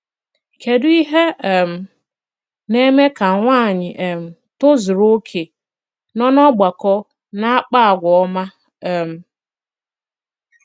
kedụ ìhé um na-eme kà nwànyị̀ um tòzùrù okè nọ n'ọ̀gbàkọ na-àkpà àgwà òma! um